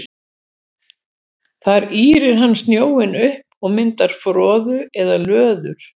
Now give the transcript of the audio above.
Þar ýrir hann sjóinn upp og myndar froðu eða löður.